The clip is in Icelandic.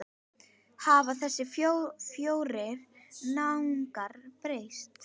Hafa þessir fjórir náungar breyst?